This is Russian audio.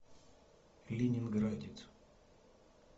ленинградец